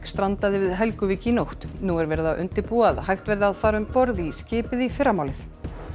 strandaði við Helguvík í nótt nú er verið að undirbúa að hægt verði að fara um borð í skipið í fyrramálið